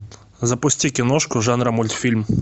запусти киношку жанра мультфильм